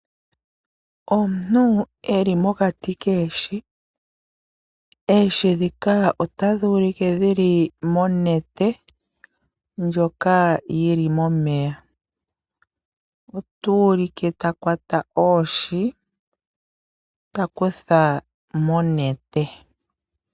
Omuntu eli mokati koohi. Oohi dhika otadhi ulike dhi li monete ndjoka yili momeya. Ota ulike ta kwata oohi, ta kutha monete.